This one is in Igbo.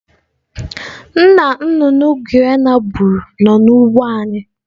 Nna nnụnụ Guinea gburu nọ n'ugbo anyị.